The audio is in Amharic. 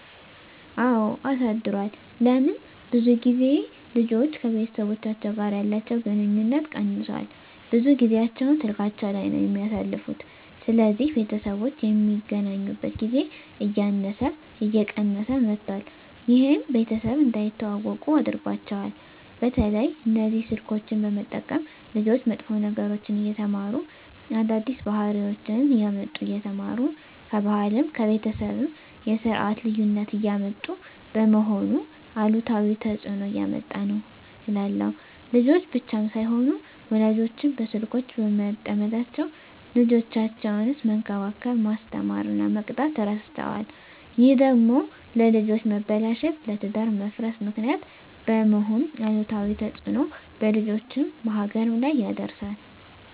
አወ አሳድሯል ለምን ብዙ ልጆች ከቤተሰቦቻቸው ጋር ያለቸዉ ግንኙነት ቀነሷል ብዙ ጊያቸዉን ስላካቸዉ ላይ ነዉ የሚያሳልፉት ስለዚህ ቤተሰቦች የሚገናኙበት ጊዜ እያነሰ እየቀነሰ መጧት ይሄም ቤተሰብ እንዳይተዋወቁ አድርጓቸዋል። በተለይ እነዚህ ስልኮችን በመጠቀም ልጆች መጥፎ ነገሮችን እየተማሩ አዳዲስ ባህሪወችነሰ እያመጡ እየተማሩ ከባህልም ከቤተሰብም የስርት ልዩነት እያመጡ በመሆኑ አሉታዊ ተጽእኖ እያመጣ ነዉ እላለሁ። ልጆች ብቻም ሳይሆኑ ወላጆችም በስልኮች በመጠመዳቸዉ ልጆቻቸዉነሰ መንከባከብ፣ መስተማር እና መቅጣት እረስተዋል ይሄ ደግሞ ለልጆች መበላሸት ለትዳር መፍረስ ምክንያት በመሄን አሉታዊ ተጽእኖ በልጆችም በሀገርም ላይ ያደርሳል።